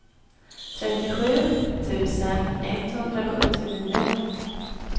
trettiosju tusen etthundrasjuttionio